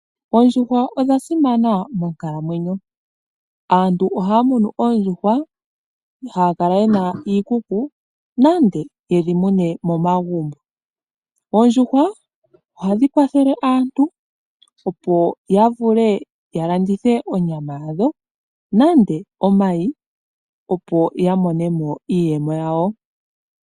Oondjuhwa odha simana monkalamwenyo. Aantu ohaya munu oondjuhwa haya kala ye na iikuku nenge ye dhi mune momagumbo. Oondjuhwa ohadhi kwathele aantu, opo ya vule ya landithe onyama yadho nenge omayi, opo ya vule ya mone mo iiyemo yawo.